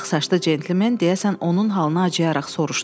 Ağsaçlı centlmen deyəsən onun halına acıyaraq soruşdu.